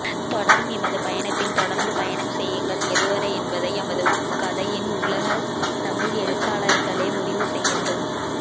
தொடரும் எமது பயணத்தில் தொடர்ந்து பயணம் செய்யுங்கள் எதுவரை என்பதை எமது கதையின் உலகத் தமிழ் எழுத்தாளர்களே முடிவு செய்யட்டும்